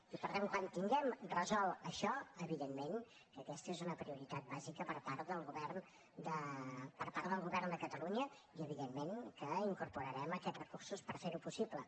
i per tant quan tinguem resolt això evidentment que aquesta és una prioritat bàsica per part del govern de catalunya i evidentment que incorporarem aquests recursos per ferho possible